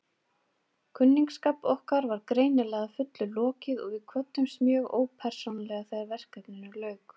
Kunningsskap okkar var greinilega að fullu lokið og við kvöddumst mjög ópersónulega þegar verkefninu lauk.